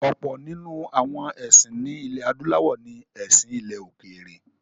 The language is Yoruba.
Ọ̀pọ̀ nínú àwọn ẹ̀sìn ní ilẹ̀-adúláwọ̀ ní “ẹ̀sìn ilẹ̀-òkèèrè”.